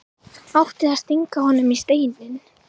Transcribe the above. Átti að stinga honum í Steininn?